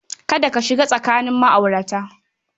Kada ka shiga tsakanin ma'aurata.